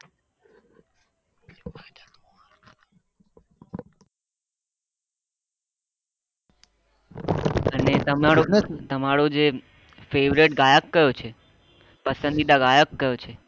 અને તમારે તમારો જે favourite ગાયક કયો છે પસંદીદા ગાયક કયો છે